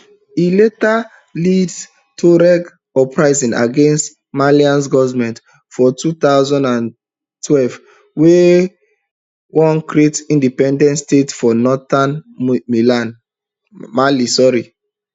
e later lead tuareg uprisings against malian goment for two thousand and twelve wey wan create independent state for northern mali